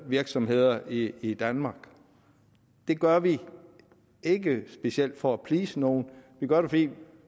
virksomheder i i danmark det gør vi ikke specielt for at please nogen vi gør det fordi